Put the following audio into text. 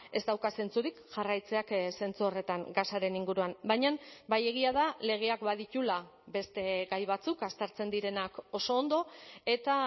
ez dauka zentzurik jarraitzeak zentzu horretan gasaren inguruan baina bai egia da legeak badituela beste gai batzuk aztertzen direnak oso ondo eta